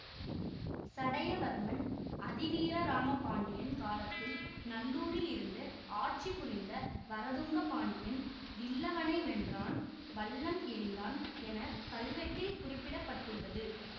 சடையவர்மன் அதி வீரராம பாண்டியன் காலத்தில் நல்லூரில் இருந்து ஆட்சி புரிந்த வரதுங்கப் பாண்டியன் வில்லவனை வென்றான்வல்லம் எறிந்தான் என கல்வெட்டில் குறிப்பிட பட்டுள்ளது